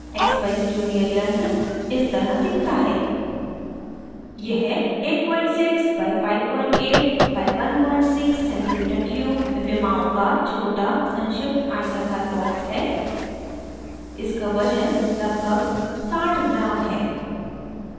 expeyes junior यंत्र device इस तरह दिखता है